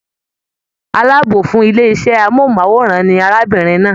Àlábọ̀ fún ilé iṣẹ amohunmaworan ní arábìnrin náà.